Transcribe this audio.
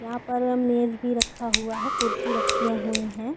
यहाँ पर मेज भी रखा हुआ हैं कुर्सी रखे हुए है।